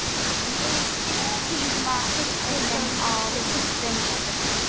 Egill, stilltu tímamælinn á tuttugu mínútur.